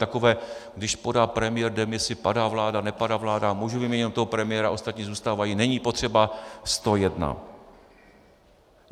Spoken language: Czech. Takové: když podá premiér demisi, padá vláda, nepadá vláda, můžu vyměnit jen toho premiéra, ostatní zůstávají, není potřeba sto jedna.